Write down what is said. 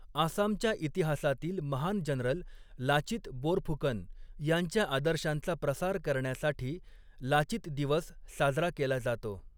आसामच्या इतिहासातील महान जनरल 'लाचित बोरफुकन' यांच्या आदर्शांचा प्रसार करण्यासाठी 'लाचित दिवस' साजरा केला जातो.